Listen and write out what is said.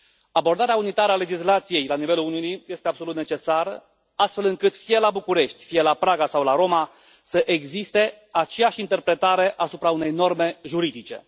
Abordarea unitară a legislației la nivelul Uniunii este absolut necesară, astfel încât, fie la București, fie la Praga sau la Roma, să existe aceeași interpretare asupra unei norme juridice.